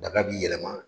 Daga b'i yɛlɛma